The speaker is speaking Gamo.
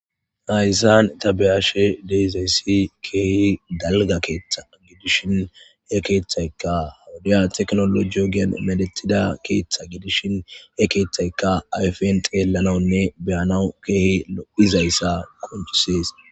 Hayssan ta be'ashe de'izayssi keehi dalga keeththa gidishin he keeththaykka wodiya teknoloje ogiyan medhetida keeththa gidishin he keeththaykka ayfen xeellanawnne be'anaw keehi lo'izayssa qoncisees.